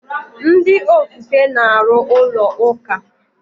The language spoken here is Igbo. Ndị ofufe na-arụ ụlọ ụka.